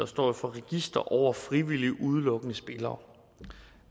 står for register over frivilligt udelukkede spillere